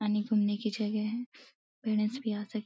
की जगह है। यहाँ से --